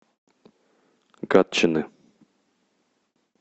гатчины